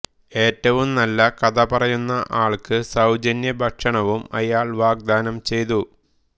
ഏറ്റവും നല്ല കഥ പറയുന്ന ആൾക്ക് സൌജന്യഭക്ഷണവും അയാൾ വാഗ്ദാനം ചെയ്തു